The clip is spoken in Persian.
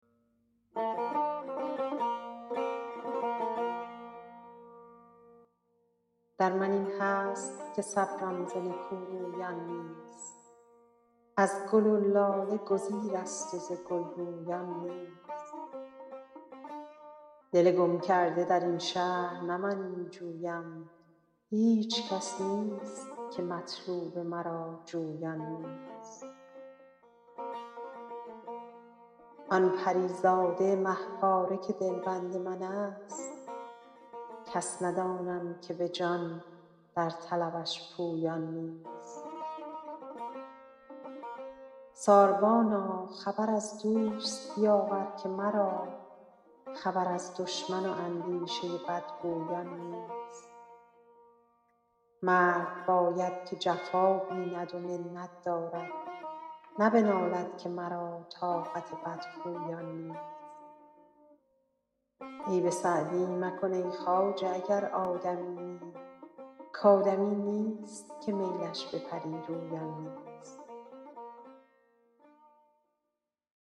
در من این هست که صبرم ز نکورویان نیست از گل و لاله گزیرست و ز گل رویان نیست دل گم کرده در این شهر نه من می جویم هیچ کس نیست که مطلوب مرا جویان نیست آن پری زاده مه پاره که دلبند من ست کس ندانم که به جان در طلبش پویان نیست ساربانا خبر از دوست بیاور که مرا خبر از دشمن و اندیشه بدگویان نیست مرد باید که جفا بیند و منت دارد نه بنالد که مرا طاقت بدخویان نیست عیب سعدی مکن ای خواجه اگر آدمیی کآدمی نیست که میلش به پری رویان نیست